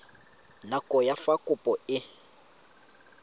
nako ya fa kopo e